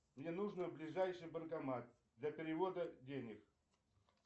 мне нужно ближайший банкомат для перевода денег